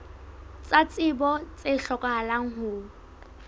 tsa tsebo tse hlokahalang ho